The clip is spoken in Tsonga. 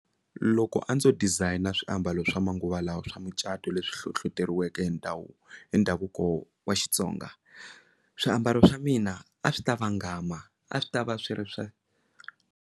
Loko a ndzo dizayina swiambalo swa manguva lawa swa micato leswi hlohloteriweke ndhawu hi ndhavuko wa Xitsonga swiambalo swa mina a swi ta vangama a swi ta va swi ri swa.